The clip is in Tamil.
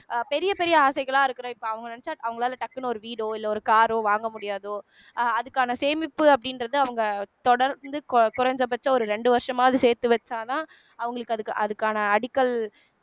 அஹ் பெரிய பெரிய ஆசைகளா இருக்குற இப்ப அவுங்க நினைச்சா அவங்களால டக்குனு ஒரு வீடோ இல்ல ஒரு காரோ வாங்க முடியாதோ அஹ் அதுக்கான சேமிப்பு அப்படின்றத அவங்க தொடர்ந்து குறைந்தபட்சம் ஒரு ரெண்டு வருஷமாவது சேர்த்து வச்சாதான் அவங்களுக்கு அதுக் அதுக்கான அடிக்கல்